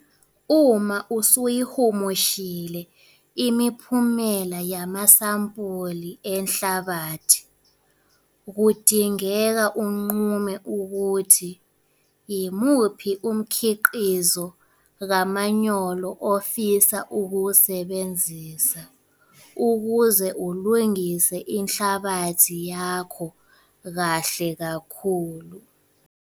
Uma usuyihumushile imiphumela yamasampuli enhlabathi kudinge unqume ukuthi yimuphi umkhiqizo kamanyolo ofisa ukuwusebenzisa ukuze ulungise inhlabathi yakho kahle kakhulu.